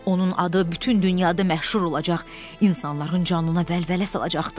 Onun adı bütün dünyada məşhur olacaq, insanların canına vəlvələ salacaqdı.